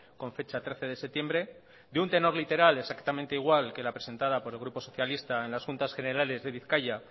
con fecha trece de septiembre de un tenor literal exactamente igual que la presentada por el grupo socialista en las juntas generales de bizkaia